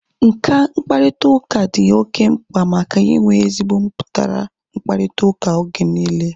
Nka mkparịta ụka dị oké mkpa maka inwe ezigbo mputara mkparịta ụka oge niile